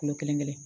Kulo kelen kelen